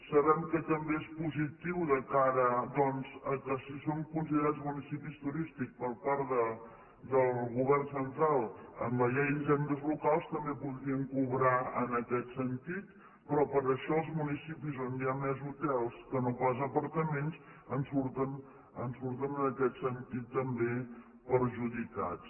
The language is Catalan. sabem que també és positiu de cara doncs que si són considerats municipis turístics per part del govern central en la llei d’hisendes locals també podrien cobrar en aquest sentit però per això els municipis on hi ha més hotels que no pas apartaments en surten en aquest sentit també perjudicats